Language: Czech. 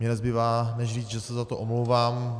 Mně nezbývá než říct, že se za to omlouvám.